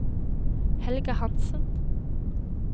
Helga Hanssen